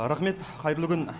рақмет қайырлы күн